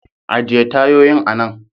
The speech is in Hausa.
Ajiye tayoyin anan.